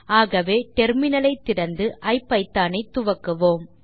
ஆகவே இப்போது டெர்மினல் ஐ திறந்து ஐபிதான் ஐ துவக்குவோம்